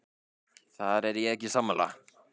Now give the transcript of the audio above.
Þar er ég ekki sammála.